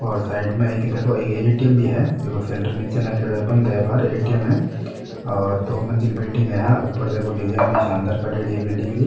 और साइड मे देखो एक एटीएम भी है देखो सेंटर निचे नाखेड़ो है बंद है बार एटीएम है और दो मजिल बिलडिंग है ऊपर देखो डीजाईन भी सानदार काडेड़ी है बिल्डिंग री।